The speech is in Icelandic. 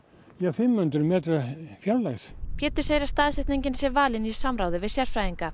í fimm hundruð metra fjarlægð Pétur segir að staðsetningin sé valin í samráði við sérfræðinga